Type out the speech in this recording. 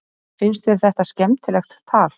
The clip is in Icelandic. Finnst þér þetta skemmtilegt tal?